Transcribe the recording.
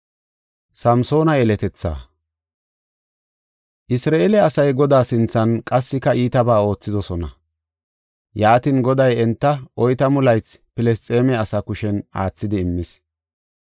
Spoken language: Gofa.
Isra7eele asay Godaa sinthan qassika iitabaa oothidosona. Yaatin, Goday enta oytamu laythi Filisxeeme asaa kushen aathidi immis.